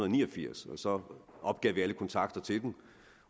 ni og firs og så opgav vi alle kontakter til dem